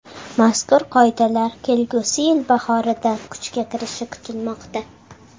Mazkur qoidalar kelgusi yil bahorida kuchga kirishi kutilmoqda.